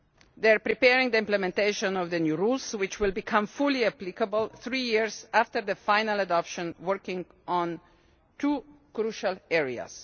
They are preparing the implementation of the new rules, which will become fully applicable three years after the final adoption, working in two crucial areas.